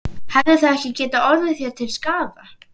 Hefði það ekki getað orðið þér til skaða?